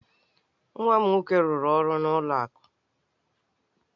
Nwa m nwoke rụrụ ọrụ n'ụlọ akụ.